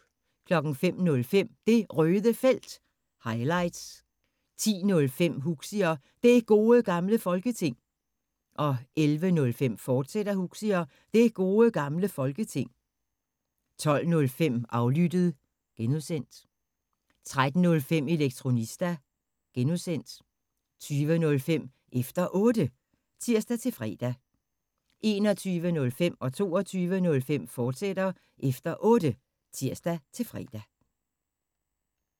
05:05: Det Røde Felt – highlights 10:05: Huxi og Det Gode Gamle Folketing 11:05: Huxi og Det Gode Gamle Folketing, fortsat 12:05: Aflyttet (G) 13:05: Elektronista (G) 20:05: Efter Otte (tir-fre) 21:05: Efter Otte, fortsat (tir-fre) 22:05: Efter Otte, fortsat (tir-fre)